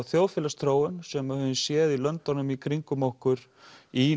þjóðfélagsþróun sem við höfum séð í löndunum í kringum okkur í